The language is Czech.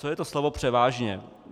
Co je to slovo převážně?